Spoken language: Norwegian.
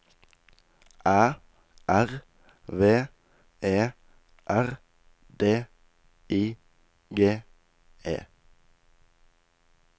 Æ R V E R D I G E